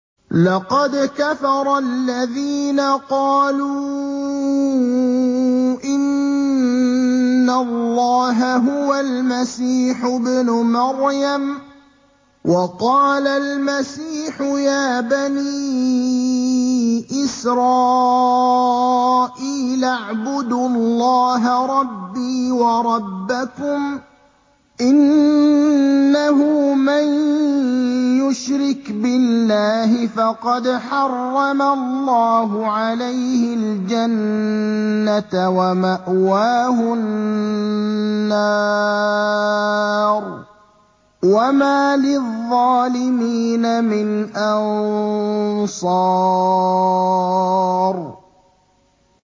لَقَدْ كَفَرَ الَّذِينَ قَالُوا إِنَّ اللَّهَ هُوَ الْمَسِيحُ ابْنُ مَرْيَمَ ۖ وَقَالَ الْمَسِيحُ يَا بَنِي إِسْرَائِيلَ اعْبُدُوا اللَّهَ رَبِّي وَرَبَّكُمْ ۖ إِنَّهُ مَن يُشْرِكْ بِاللَّهِ فَقَدْ حَرَّمَ اللَّهُ عَلَيْهِ الْجَنَّةَ وَمَأْوَاهُ النَّارُ ۖ وَمَا لِلظَّالِمِينَ مِنْ أَنصَارٍ